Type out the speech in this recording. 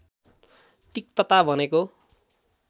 तिक्तता भनेको